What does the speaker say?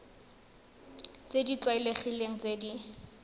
tse di tlwaelegileng tse di